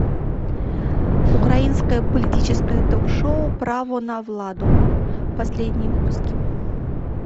украинское политическое ток шоу право на владу последние выпуски